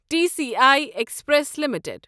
T C I express limited